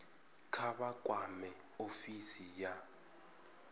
kha vha kwame ofisi ya